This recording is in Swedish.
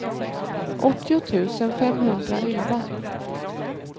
åttio tusen femhundraelva